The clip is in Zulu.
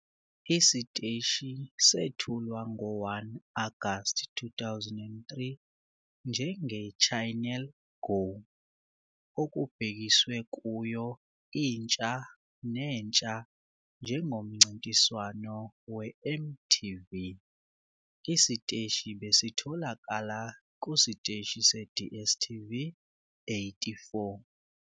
Isiteshi sethulwa ngo-1 Agasti 2003 njenge- "'Channel go" okubhekiswe kuyo intsha nentsha njengomncintiswano weMTV. Isiteshi besitholakala kusiteshi se-DStv 84.